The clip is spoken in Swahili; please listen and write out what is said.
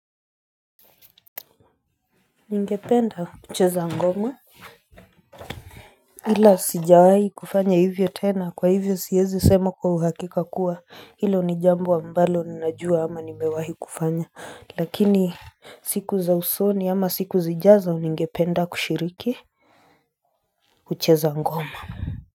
Ningependa kucheza ngoma. Hila sijawahi kufanya hivyo tena kwa hivyo siezi semu kwa uhakika kuwa hilo ni jambo wa ambalo ninajua ama nimewahi kufanya. Lakini siku za usoni ama siku zijazo ningependa kushiriki kucheza ngoma.